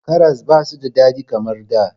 Karas ba su da daɗi kamar da.